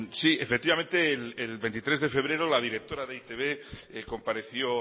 sí efectivamente el veintitrés de febrero la directora de e i te be compareció